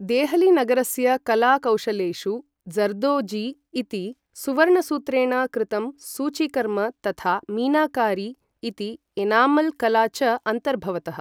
देहलीनगरस्य कला कौशलेषु ज़र्दोज़ी इति सुवर्णसूत्रेण कृतं सूचीकर्म तथा मीनाकारी इति एनामल् कला च अन्तर्भवतः।